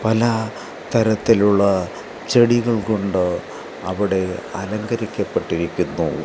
പല തരത്തിലുള്ള ചെടികൾ കൊണ്ട് അവിടെ അലങ്കരിക്കപ്പെട്ടിരിക്കുന്നു.